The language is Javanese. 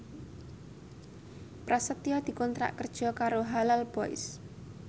Prasetyo dikontrak kerja karo Halal Boys